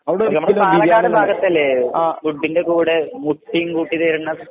ആ